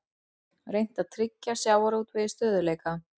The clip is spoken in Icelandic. Reynt að tryggja sjávarútvegi stöðugleika